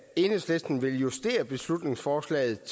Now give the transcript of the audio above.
enhedslisten vil justere beslutningsforslaget